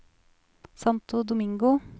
Santo Domingo